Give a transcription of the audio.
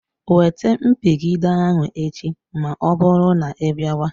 Wete mpigide ahụ echi ma ọbụrụ na ịbịawa.